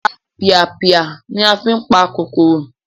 Ọ̀tapìàpìà ni a fí n pa kòkòrò